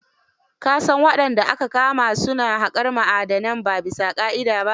Ka san wadanda aka kama su na haƙar ma'adanai ba bisa ƙa'ida ba?